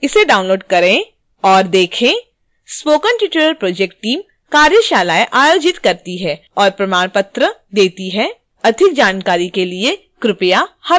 spoken tutorial project team: कार्यशालाएं आयोजित करती है और प्रमाण पत्र देती है